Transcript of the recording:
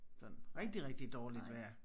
Sådan rigtig rigtig dårligt vejr